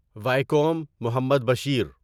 Vaikom Muhammad Bashir